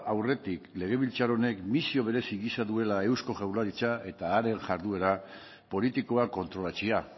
aurretik legebiltzar honek misio berezi gisa duela eusko jaurlaritza eta haren jarduera politikoa kontrolatzea